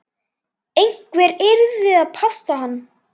Einhver yrði að passa hann.